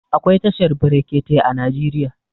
Akwai tashar brekete a Najeriya.